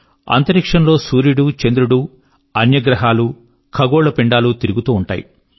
అంతరిక్షంలో సూర్యుడు చంద్రుడు మరియు అన్య గ్రహాలు ఖగోళ పిండాలు తిరుగుతూ ఉంటాయి